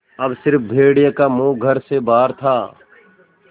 अब स़िर्फ भेड़िए का मुँह घर से बाहर था